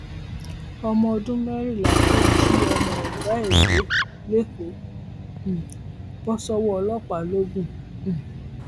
ọmọ ọdún mẹrìnlá tó jí ọmọ ọgá ẹ gbé lẹkọọ um bọ sọwọ ọlọpàá lọgùn um